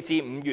評估。